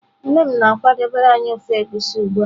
Nne m na-akwadebere anyi ofe Egusi ugbua.